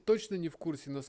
точно не в курсе на ск